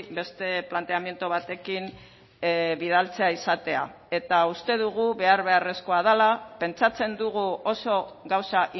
beste planteamendu batekin bidaltzea izatea eta uste dugu behar beharrezkoa dela pentsatzen dugu oso gauza